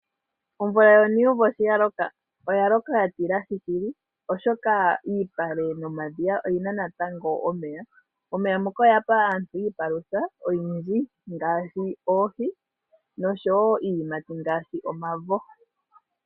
Omvula yonuumvo shi ya loka oya loka ya tilahi shili, oshoka iipale nomadhiya oyi na natango omeya. Omeya ngoka oga pa aantu iipalutha oyindji ngaashi oohi noshowo iiyimati ngaashi omavo.